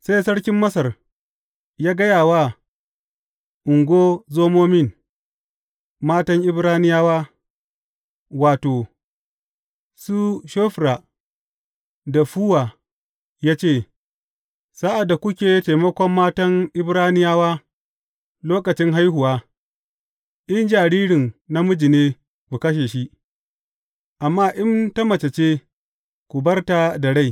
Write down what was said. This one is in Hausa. Sai Sarkin Masar ya gaya wa ungozomomin matan Ibraniyawa, wato, su Shofra da Fuwa ya ce, Sa’ad da kuke taimakon matan Ibraniyawa lokacin haihuwa, in jaririn namiji ne ku kashe shi, amma in ta mace ce, ku bar ta da rai.